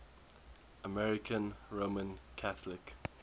american roman catholic